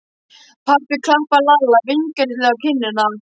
Pabbi klappaði Lalla vingjarnlega á kinnina.